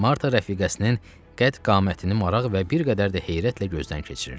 Marta rəfiqəsinin qəd qamətini maraq və bir qədər də heyrətlə gözdən keçirirdi.